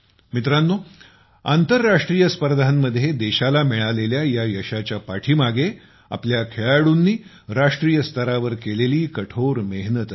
मित्रांनो आंतरराष्ट्रीय स्पर्धांमध्ये देशाला मिळालेल्या या यशाच्या पाठीमागे आपल्या खेळाडूंनी राष्ट्रीय स्तरावर केलेली कठोर मेहनत असते